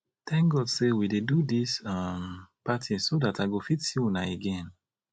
thank god say we dey do dis um party so dat i go fit see una again